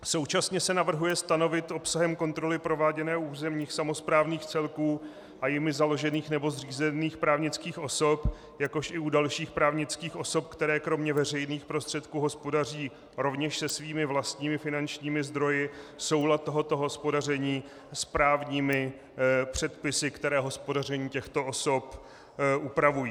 Současně se navrhuje stanovit obsahem kontroly prováděné u územních samosprávných celků a jimi založených nebo zřízených právnických osob, jakož i u dalších právnických osob, které kromě veřejných prostředků hospodaří rovněž se svými vlastními finančními zdroji, soulad tohoto hospodaření s právními předpisy, které hospodaření těchto osob upravují.